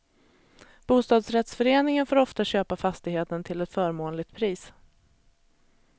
Bostadsrättsföreningen får ofta köpa fastigheten till ett förmånligt pris.